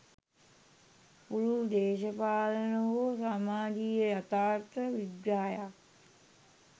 පුළුල් දේශපාලන හෝ සමාජීය යථාර්ථ විග්‍රහයක්